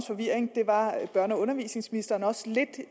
forvirring det var børne og undervisningsministeren også lidt